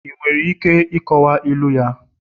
ị nwere ike ịkọwa ilu ya?